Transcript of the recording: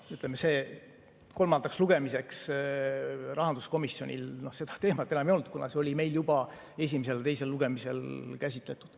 Ütleme, kolmandaks lugemiseks rahanduskomisjonil seda teemat enam ei olnud, kuna see oli meil juba esimesel ja teisel lugemisel käsitletud.